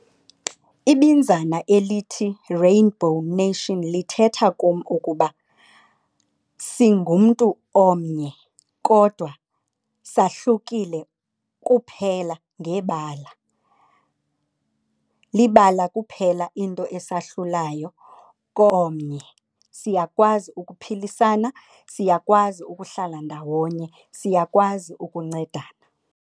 Ibinzana elithi, rainbow nation, lithetha kum ukuba singumntu omnye kodwa sahlukile kuphela ngebala. Libala kuphela into esahlulayo komnye siyakwazi ukuphilisana, siyakwazi ukuhlala ndawonye, siyakwazi ukuncedana.